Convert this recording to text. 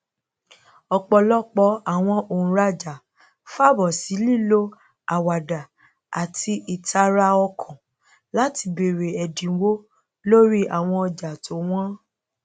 ọpọlọpọ àwọn òǹràjà fàbọ sí lílo àwàdà àti ìtara ọkàn láti bèrè ẹdínwó lorí àwọn ọjà tó wọn